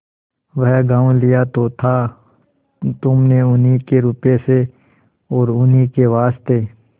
वह गॉँव लिया तो था तुमने उन्हीं के रुपये से और उन्हीं के वास्ते